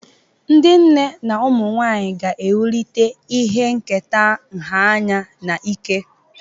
Ndị nne na ụmụ nwanyị ga-ewulite ihe nketa nha anya na ike.